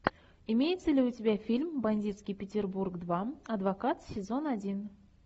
имеется ли у тебя фильм бандитский петербург два адвокат сезон один